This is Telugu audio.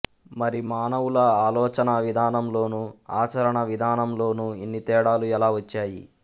మరి మానవుల ఆలోచనావిధానం లోనూ ఆచరణావిధానం లోనూ ఇన్ని తేడాలు ఎలా వచ్చాయి